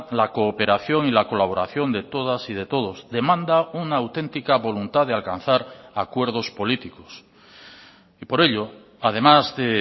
la cooperación y la colaboración de todas y de todos demanda una auténtica voluntad de alcanzar acuerdos políticos y por ello además de